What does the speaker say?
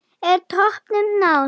Er toppnum náð?